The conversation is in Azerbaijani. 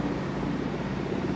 İndi bu xəttin üstündədir.